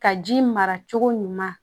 Ka ji mara cogo ɲuman